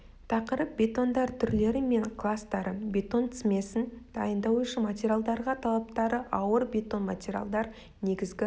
тақырып бетондар түрлері мен кластары бетон смесін дайындау үшін материалдарға талаптары ауыр бетон материалдар негізгі